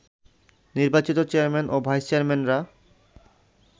নির্বাচিত চেয়ারম্যান ও ভাইস চেয়ারম্যানরা